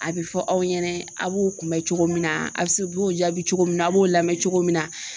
A be fɔ aw ɲɛna a b'u kunbɛ cogo min na, a b'o jaabi cogo min na a b'o lamɛn cogo min na